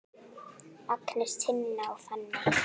Agnes, Tinna og Fanney.